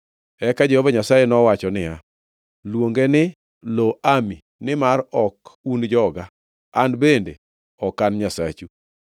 Eka Jehova Nyasaye nowacho niya, “Luonge ni Lo-Ami nimar ok un joga, An bende ok An Nyasachu.